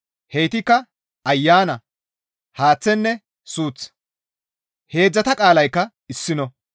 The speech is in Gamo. Heytikka ayana, haaththenne suuth; heedzdzata qaalaykka issino.